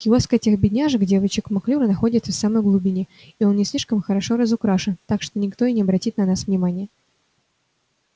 киоск этих бедняжек девочек маклюр находится в самой глубине и он не слишком хорошо разукрашен так что никто и не обратит на вас внимания